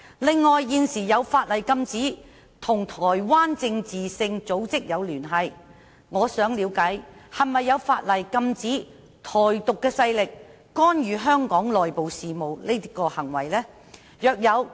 另外，現時有法例禁止與台灣政治性組織有聯繫，我想了解是否有法例禁止"台獨"勢力干預香港內部事務的行為呢？